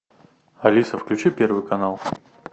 алиса включи первый канал